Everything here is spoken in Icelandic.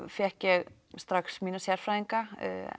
fékk ég strax mína sérfræðinga